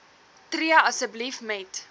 tree asseblief met